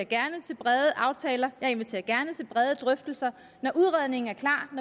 brede aftaler og brede drøftelser når udredningen er klar